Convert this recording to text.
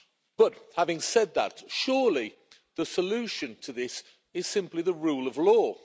But, having said that, surely the solution to this is simply the rule of law.